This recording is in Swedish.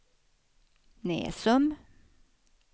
Näsum